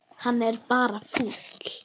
Hann er bara fúll.